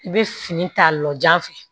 I bɛ fini ta lɔjan fɛ